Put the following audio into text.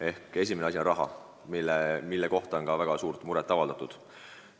Ehk siis üks probleem on rahapuudus, millega seoses on väga suurt muret avaldatud.